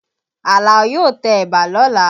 Àlàó yóò tẹ ẹ̀bà lọ́la